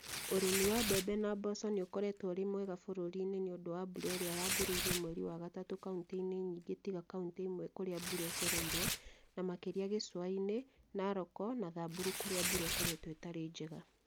Ũrĩmi wa mbembe na mboco nĩ ũkoretwo ũrĩ mwega bũrũriinĩ nĩ ũndũ wa mbura iria yambĩrĩirie mweri wa gatatũ kauntĩ-inĩ nyingĩ tiga kauntĩ imwe kũrĩa mbura ĩcereirwo, na makĩria gĩcũa-inĩ, Narok na Samburu kũrĩa mbura ĩkoretwo ĩtarĩ njega.